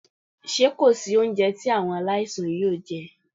Ṣé kò sí oúnjẹ tí àwọn aláìsàn yóò jẹ́?